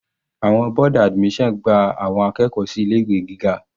Àwọn board admission gba àwọn akẹ́kọ̀ọ́ sí ilé ìwé gíga.